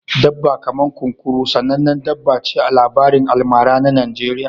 Dabba kaman kunkuru sanannen dabba ce a labarin almara na Najeriya